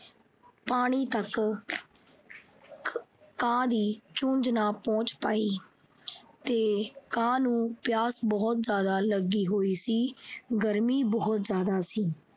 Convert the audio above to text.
ਪਾਣੀ ਤੱਕ ਆਹ ਕਾਂ ਦੀ ਚੂੰਝ ਨਾ ਪਹੁੰਚ ਪਾਈ ਤੇ ਆਹ ਕਾਂ ਨੂੰ ਪਿਆਸ ਬਹੁਤ ਜਿਆਦਾ ਲੱਗੀ ਹੋਈ ਸੀ। ਗਰਮੀ ਬਹੁਤ ਜਿਆਦਾ ਸੀ।